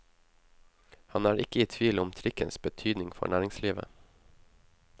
Han er ikke i tvil om trikkens betydning for næringslivet.